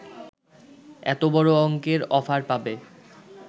এত বড় অঙ্কের অফার পাবে